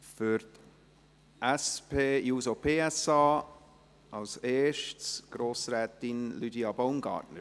Zuerst für die SP-JUSO-PSA: Grossrätin Lydia Baumgartner.